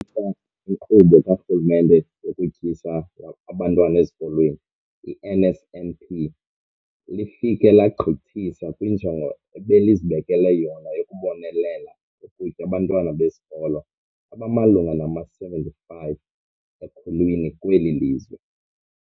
iNkqubo kaRhulumente yokuTyisa Abantwana Ezikolweni, i-NSNP, lifike legqithisa kwinjongo ebelizibekele yona yokubonelela ngokutya abantwana besikolo abamalunga nama-75 ekhulwini kweli lizwe.